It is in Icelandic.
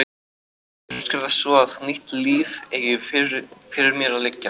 Kannski er það svo að nýtt líf eigi fyrir mér að liggja.